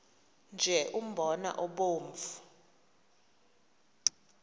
nje umbona obomvu